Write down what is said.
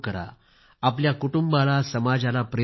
आपल्या कुटुंबाला समाजाला प्रेरित करा